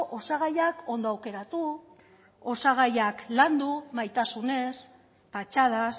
osagaiak ondo aukeratu osagaiak landu maitasunez patxadaz